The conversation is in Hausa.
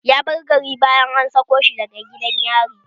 Ya bar gari bayan an sako shi daga gidan yari